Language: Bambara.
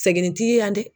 Sɛgirin t'i la dɛ